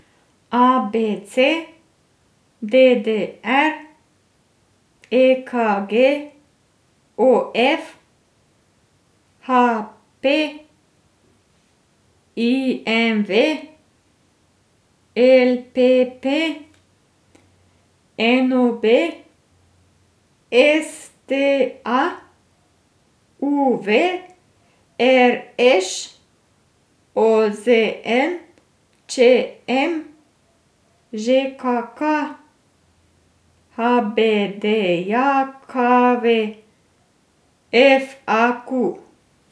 A B C; D D R; E K G; O F; H P; I M V; L P P; N O B; S T A; U V; R Š; O Z N; Č M; Ž K K; H B D J K V; F A Q.